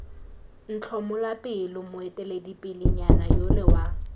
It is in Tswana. ntlhomola pelo moeteledipelenyana yole wa